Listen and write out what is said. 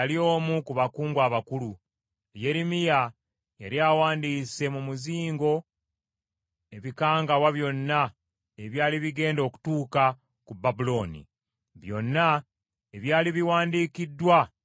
Yeremiya yali awandiise mu muzingo ebikangabwa byonna ebyali bigenda okutuuka ku Babulooni, byonna ebyali biwandiikiddwa ebyali bikwata ku Babulooni.